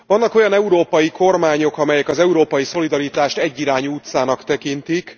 Vannak olyan európai kormányok, amelyek az európai szolidaritást egyirányú utcának tekintik.